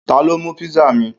Ta ló mú pizza mi?